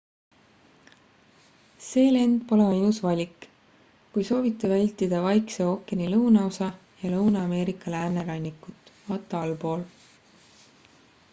see lend pole ainus valik kui soovite vältida vaikse ookeani lõunaosa ja lõuna-ameerika läänerannikut. vt allpool